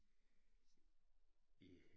Boet her i Olstrup i